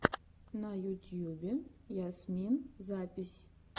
на ютьюбе ясмин запись